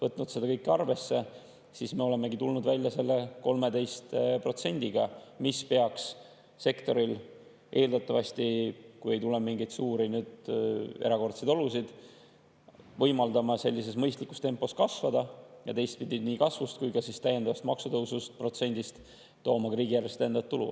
Oleme seda kõike arvesse võtnud ja tulnud välja 13%‑ga, mis peaks sektoril eeldatavasti, kui ei teki mingeid erakordseid olusid, võimaldama mõistlikus tempos kasvada ja teistpidi, nii kasvust kui ka täiendavast maksuprotsendist ka riigieelarvesse täiendavat tulu.